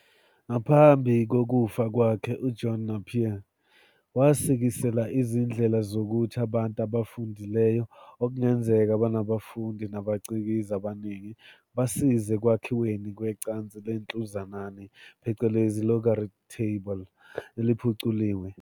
Ngaphambi kokufackwalhe, uJohn Napier, wasikisela izindlela zokuthi "abantu abafundileyo, okungenzeka banabafundi nabacikizi abaningi" basize ekwakhiweni kwecansi lenhluzanani "logarith table" eliphuculiwe.